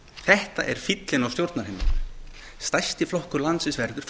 þetta er fíllinn á stjórnarheimilinu stærsti flokkur landsins verður